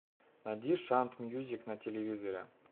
найди шант мьюзик на телевизоре